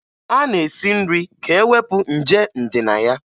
A na-esi nri ka e wepụ nje ndị na ya